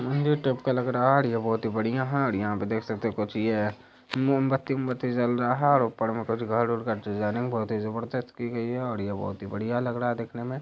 मंदिर टाइप का लग रहा है। और यह बहुत ही बढ़िया है। और यहां पर देख सकते हैं कुछ ये मोमबत्ती-ओमबत्ती जल रहा है। और ऊपर में कुछ घर वर का डिजाइनिंग बहुत ही जबरदस्त की गई है। और यह बहुत ही बढ़िया लग रहा है देखने में।